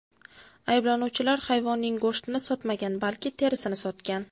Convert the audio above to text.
Ayblanuvchilar hayvonning go‘shtini sotmagan, balki terisini sotgan.